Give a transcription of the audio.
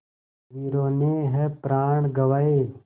वीरों ने है प्राण गँवाए